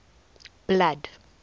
blood